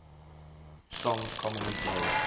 songs commonly played